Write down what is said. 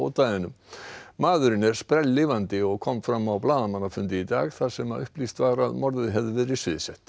ódæðinu maðurinn er spelllifandi og kom fram á blaðamannafundi í dag þar sem upplýst var að morðið hefði verið sviðsett